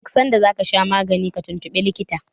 duk sanda za ka sha magani tuntubi likitan